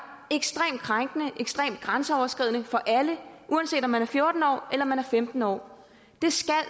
ekstremt krænkende og ekstremt grænseoverskridende for alle uanset om man fjorten år eller femten år